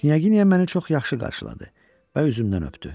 Knyaginya məni çox yaxşı qarşıladı və üzümdən öptü.